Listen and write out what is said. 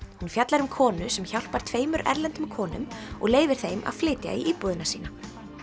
hún fjallar um konu sem hjálpar tveimur erlendum konum og leyfir þeim að flytja í íbúðina sína